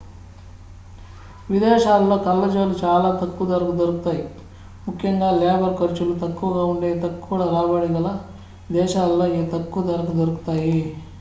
విదేశాలలో కళ్ళజోళ్ళు చాల తక్కువ ధరకు దొరుకుతాయి ముఖ్యంగా లేబర్ ఖర్చులు తక్కువగా ఉండే తక్కువ రాబడి గల దేశాలలో ఇవి తక్కువ ధరకు దొరుకుతాయి